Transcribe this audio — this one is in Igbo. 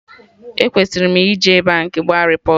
E kwesiri m ije Baankị gba repọt